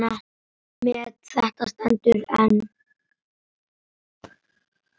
Met þetta stendur enn.